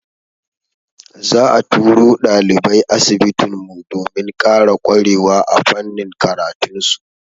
Za'a turo ɗalibai asibitin mu, domin ƙara ƙwarewa a fannin karatun su.